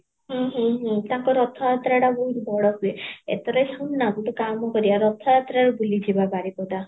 ହୁଁ ହୁଁ ହୁଁ ତାଙ୍କ ରଥ ଯାତ୍ରାଟା ବହୁତ ବଡ଼ ହୁଏ, ଏଥରେ ଶୁଣ ନା ଗୋଟେ କାମ କରିବା ରହ ରଥ ଯାତ୍ରା ରେ ବୁଲି ଯିବ ଆବାରିପଦା